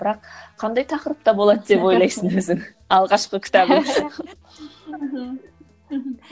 бірақ қандай тақырыпта болады деп ойлайсың өзің алғашқы кітабың